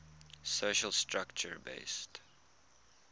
social structure based